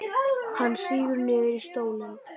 Hann sígur niður í stólinn.